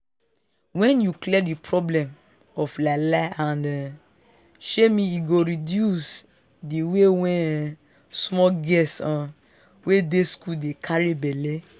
wen you clear di problem of lie lie and um shaming e go reduce di way wen um small girls um wey dey school dey carry belle